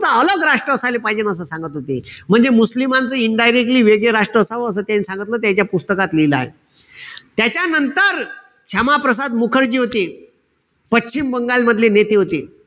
राष्ट्र झाला पाईजे असं सांगत होते. म्हणजे मुस्लिमायचं indirectly वेगळं राष्ट्र असावं असं त्यायन सांगितलं. त्याईच्या पुस्तकात लिहिलाय. त्याच्यानंतर, क्षमाप्रसाद मुखर्जी होते. पश्चिम बंगाल मधले नेते होते.